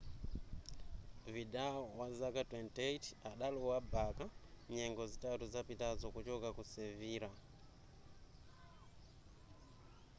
vidal wazaka 28 adalowa barca nyengo zitatu zapitazo kuchoka ku sevilla